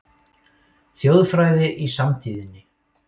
Þjóðfræði í samtíðinni